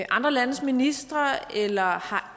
andre landes ministre eller har